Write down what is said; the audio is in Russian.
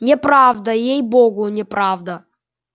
неправда ей богу неправда